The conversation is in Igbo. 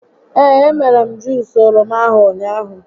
Ee, e mere m Juus oroma ahụ ụnyaahụ